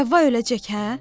Həvva öləcək hə?